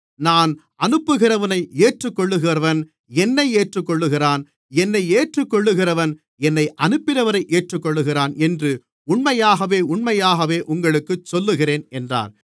நான் அனுப்புகிறவனை ஏற்றுக்கொள்ளுகிறவன் என்னை ஏற்றுக்கொள்ளுகிறான் என்னை ஏற்றுக்கொள்ளுகிறவன் என்னை அனுப்பினவரை ஏற்றுக்கொள்ளுகிறான் என்று உண்மையாகவே உண்மையாகவே உங்களுக்குச் சொல்லுகிறேன் என்றார்